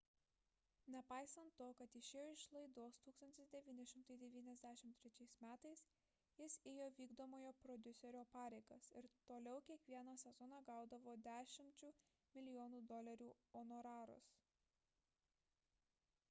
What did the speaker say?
nepaisant to kad išėjo iš laidos 1993 m jis ėjo vykdomojo prodiuserio pareigas ir toliau kiekvieną sezoną gaudavo dešimčių milijonų dolerių honorarus